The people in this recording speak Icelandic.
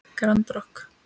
Grand Rokk.